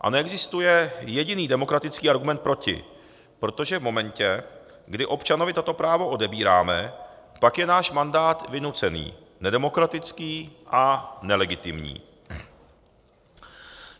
A neexistuje jediný demokratický argument proti, protože v momentě, kdy občanovi toto právo odebíráme, pak je náš mandát vynucený, nedemokratický a nelegitimní.